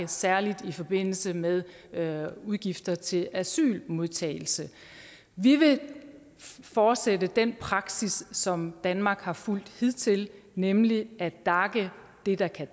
særlig i forbindelse med med udgifter til asylmodtagelse vi vil fortsætte den praksis som danmark har fulgt hidtil nemlig at dace det der kan